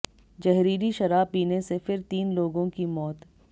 जहरीली शराब पीने से फिर तीन लोगों की मौत